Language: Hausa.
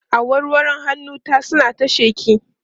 awarwaron hannun ta suna ta sheƙi